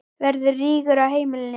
Verður rígur á heimilinu?